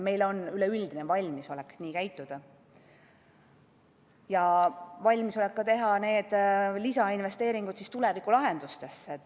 Meil on üleüldine valmisolek nii käituda ja valmisolek teha ka lisainvesteeringud tulevikulahendustesse.